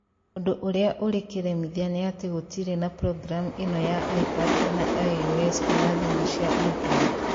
Ũndũ ũrĩa ũrĩ kĩremithia nĩ atĩ gũtirĩ na programu ĩno ya iPad kana iOS kana thimu cia Android.